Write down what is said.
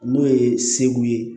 N'o ye segu ye